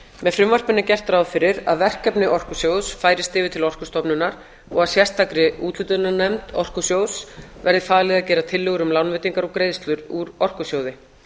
með frumvarpinu er gert ráð fyrir að verkefni orkusjóðs færist yfir til orkustofnunar og að sérstakri úthlutunarnefnd orkusjóðs verði falið að gera tillögur um lánveitingar og greiðslur úr orkusjóði